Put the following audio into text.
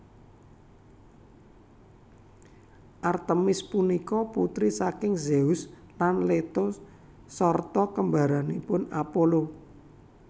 Artemis punika putri saking Zeus lan Leto sarta kembaranipun Apollo